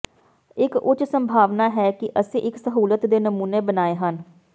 ਇੱਕ ਉੱਚ ਸੰਭਾਵਨਾ ਹੈ ਕਿ ਅਸੀਂ ਇੱਕ ਸਹੂਲਤ ਦੇ ਨਮੂਨੇ ਬਣਾਏ ਹਨ